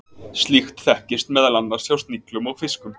slíkt þekkist meðal annars hjá sniglum og fiskum